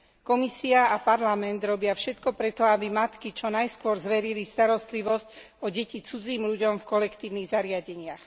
Komisia a Parlament robia všetko preto, aby matky čo najskôr zverili starostlivosť o deti cudzím ľuďom v kolektívnych zariadeniach.